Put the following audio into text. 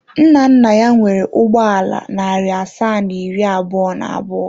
Nna nna ya nwere ụgbọ ala narị asaa na iri abụọ na abụọ.